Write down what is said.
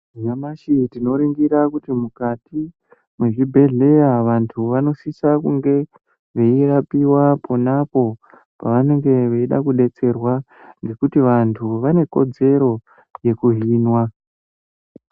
Nyamashi tinoningira kuti mukati mezvibhedhlera vantu vanosisa kunge veirapiwa panapo pavanenge veida kudetserwa ngekuti vantu vane kodzero yekuhinwa .